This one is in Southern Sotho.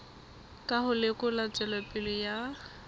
ka ho lekola tswelopele ya